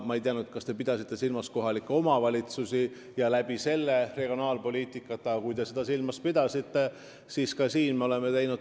Ma ei tea, kas te pidasite silmas kohalike omavalitsuste kaudu tehtavat regionaalpoliitikat, aga kui te seda silmas pidasite, siis nii tõesti on.